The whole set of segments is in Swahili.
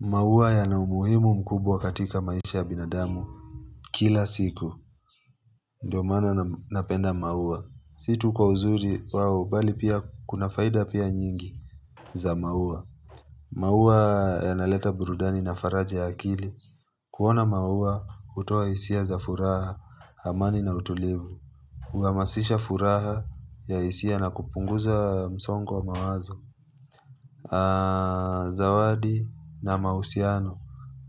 Maua yana umuhimu mkubwa katika maisha ya binadamu kila siku. Ndiyo maana napenda maua. Si tu kwa uzuri wao bali pia kuna faida pia nyingi za maua maua yanaleta burudani na faraja ya akili kuona maua hutoa hisia za furaha, amani na utulivu Huhamasisha furaha ya hisia na kupunguza msongo wa mawazo Zawadi na mahusiano.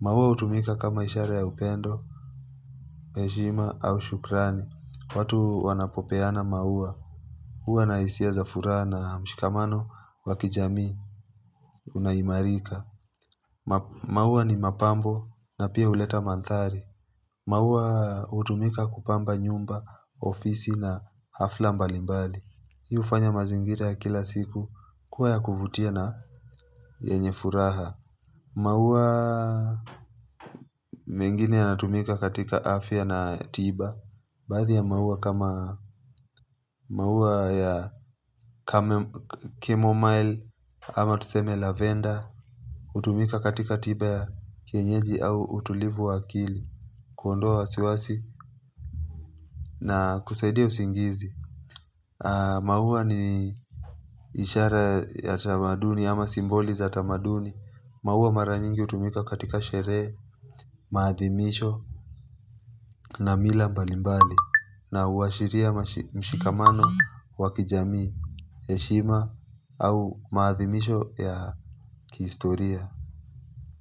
Maua hutumika kama ishara ya upendo, heshima au shukrani. Watu wanapopeana maua. Hua na hisia za furaha na mshikamano wa kijamii, unaimarika. Maua ni mapambo na pia huleta mandhari. Maua hutumika kupamba nyumba, ofisi na hafla mbalimbali. Hii hufanya mazingira ya kila siku kuwa ya kuvutia na yenye furaha. Maua mengine yanatumika katika afya na tiba Baadhi ya mauwa kama mauwa ya Chamomile, ama tuseme Lavenda hutumika katika tiba ya kienyeji au utulivu wa akili Kuondowa wasiwasi na kusaidia usingizi maua ni ishara ya tamaduni ama simboli za tamaduni maua mara nyingi hutumika katika sherehe, maadhimisho na mila mbalimbali na huashiria mshikamano wa kijamii, heshima au maadhimisho ya kihistoria.